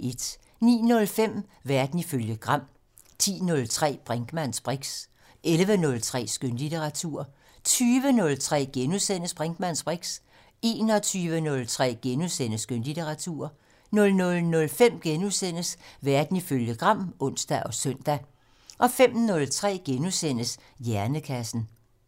09:05: Verden ifølge Gram 10:03: Brinkmanns briks 11:03: Skønlitteratur 20:03: Brinkmanns briks * 21:03: Skønlitteratur * 00:05: Verden ifølge Gram *(ons og søn) 05:03: Hjernekassen *